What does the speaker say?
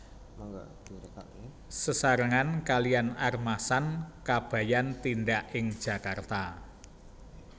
Sesarengan kaliyan Armasan Kabayan tindak ing Jakarta